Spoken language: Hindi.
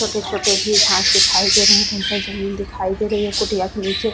यहाँ पर हम सब देख पा रहे है कि एक सामने घर है उस घर के सामने एक कुटिया जैसा बना हुआ है जिसमे चार --